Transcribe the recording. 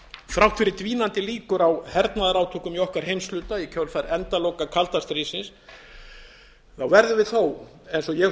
þrátt fyrir dvínandi líkur á hernaðarátökum í okkar heimshluta í kjölfar endaloka kalda stríðsins verðum við þó eins og ég